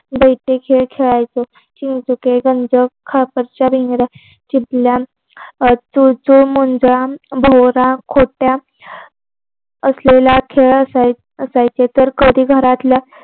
बैठे खेळ खेळायचो चिंचुके गंज खापराच्या भिंगऱ्या चिपळ्या चुलचूलमुंज भोवरा खोट्या असलेला खेळ असायचा असायचे. तर कधी घरातल्या